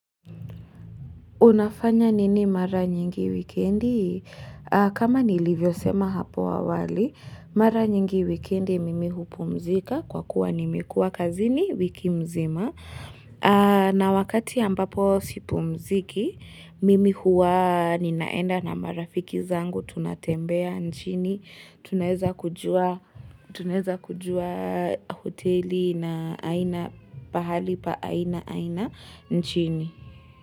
Unafanya nini mara nyingi wikendi? Kama nilivyosema hapo awali, mara nyingi wikendi mimi hupumzika kwa kuwa nimekuwa kazini wiki mzima. Na wakati ambapo sipumziki, mimi huwa ninaenda na marafiki zangu tunatembea nchini, tunaeza kujua hoteli na aina pahali pa aina aina nchini.